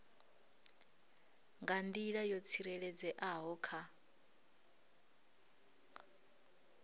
nga nḓila yo tsireledzeaho kha